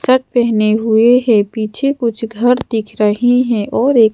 shirt पहने हुए हैं पीछे कुछ घर दिख रहे हैं और एक--